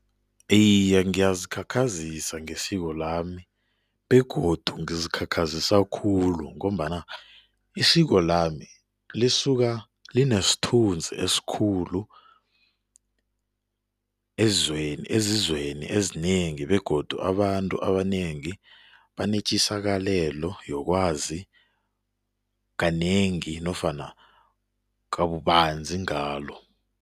Iye, ngiyazikhakhazisa ngesiko lami begodu ngizikhakhazisa khulu ngombana isiko lami lisuka linesithunzi esikhulu ezweni ezizweni ezinengi begodu abantu abanengi banetjisakalelo yokwazi kanengi nofana kabubanzi ngalo.